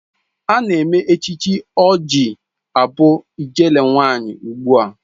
Ana eme echichi ọ ji abụ ijele nwanyi ugbua.